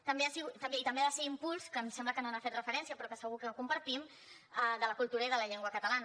i també ha de ser impuls que em sembla que no hi ha fet referència però segur que ho compartim de la cultura i de la llengua catalana